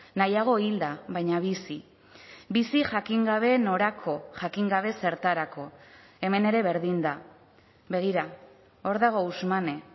nahiago hilda baina bizi bizi jakin gabe norako jakin gabe zertarako hemen ere berdin da begira hor dago ousmane